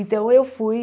Então, eu fui...